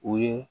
O ye